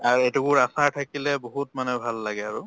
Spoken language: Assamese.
আৰু এটুকুৰ আচাৰ থাকিলে বহুত মানে ভাল লাগে আৰু।